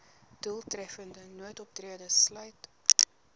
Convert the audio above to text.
doeltreffende noodoptrede sluit